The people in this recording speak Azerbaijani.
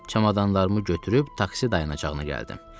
Çamadanlarımı götürüb taksi dayanacağına gəldim.